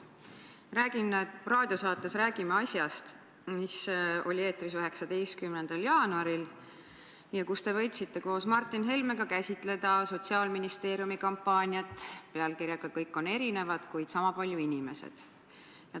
Raadiosaates "Räägime asjast", mis oli eetris 19. jaanuaril, te võtsite koos Martin Helmega käsitleda Sotsiaalministeeriumi kampaaniat pealkirjaga "Kõik on erinevad, kuid sama palju inimesed".